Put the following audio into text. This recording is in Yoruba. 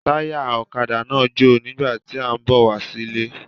Táyà ọ̀kadà náà jò nígbà tí ó ń bọ̀ wá sílé